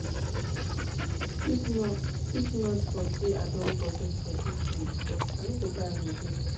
if not for say i don budget for dis thing before i no go buy am again